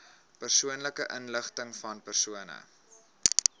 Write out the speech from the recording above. persoonlike inligtingvan persone